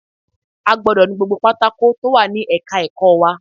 A gbọdọ̀ nu gbogbo pátákó tó wà ní ẹ̀ka ẹ̀kọ́ wa